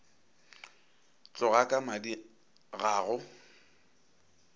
tloga ka madi ga go